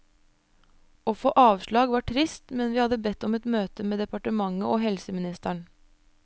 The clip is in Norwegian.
Å få avslag var trist, men vi har bedt om et møte med departementet og helseministeren.